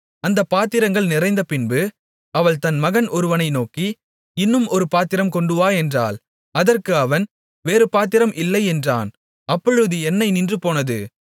அந்தப் பாத்திரங்கள் நிறைந்தபின்பு அவள் தன் மகன் ஒருவனை நோக்கி இன்னும் ஒரு பாத்திரம் கொண்டுவா என்றாள் அதற்கு அவன் வேறு பாத்திரம் இல்லை என்றான் அப்பொழுது எண்ணெய் நின்றுபோனது